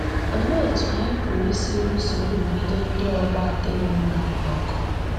Olee etu anyị pụrụ isi lụso nrụgide ndị ọgbọ nadịghị mma ọgụ?